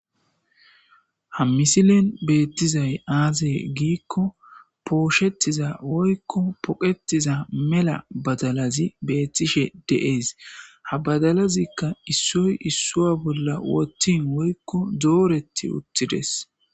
Ha misilen beetizay aazee giikko pooshetiza woykko poqetiza mela badalazi beettishe de7ees. Ha badalazikka issoy issuwa bolla woththin woykko dooreti uttidees.